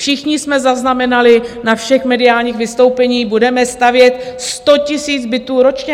Všichni jsme zaznamenali na všech mediálních vystoupeních: Budeme stavět 100 000 bytů ročně.